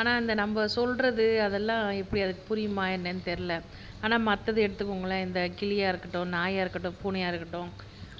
ஆனா நம்ம சொல்றது அதெல்லாம் எப்படி அதுக்கு புரியுமா என்னன்னு தெரியல ஆனா மத்ததை எடுத்துக்கோங்களேன் இந்த கிளியா இருக்கட்டும், நாயா இருக்கட்டும், பூனையா இருக்கட்டும்